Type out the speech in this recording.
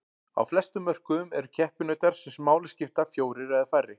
Á flestum mörkuðum eru keppinautar sem máli skipta fjórir eða færri.